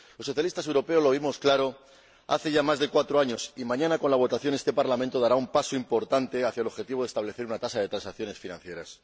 Los Socialistas europeos lo vimos claro hace ya más de cuatro años, y mañana, con la votación, este Parlamento dará un paso importante hacia el objetivo de establecer un impuesto sobre las transacciones financieras.